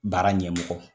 Baara ɲɛmɔgɔ